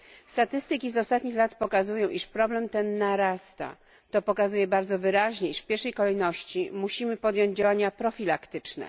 Statystyki z ostatnich lat pokazują, iż problem ten narasta. To pokazuje bardzo wyraźnie, iż w pierwszej kolejności musimy podjąć działania profilaktyczne.